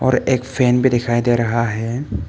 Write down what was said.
और एक फैन भी दिखाई दे रहा है।